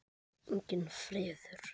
Enginn friður.